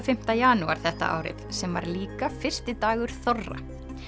fimmta janúar þetta árið sem var líka fyrsti dagur þorra